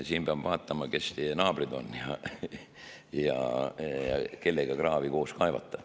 Siin peab vaatama, kes teie naabrid on ja kellega kraavi koos kaevata.